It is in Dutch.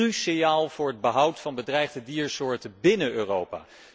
Dat is cruciaal voor het behoud van bedreigde diersoorten binnen Europa.